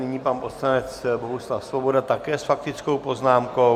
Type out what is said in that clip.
Nyní pan poslanec Bohuslav Svoboda, také s faktickou poznámkou.